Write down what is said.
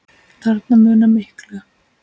Þarna munar miklu.